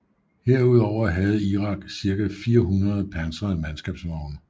Herudover havde Irak cirka 400 pansrede mandskabsvogne